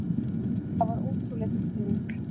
Það var ótrúleg tilfinning.